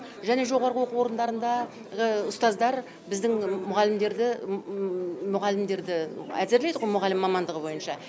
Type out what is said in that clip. және жоғарғы оқу орындарындағы ұстаздар біздің мұғалімдерді әзірлейді ғой мұғалім мамандығы бойынша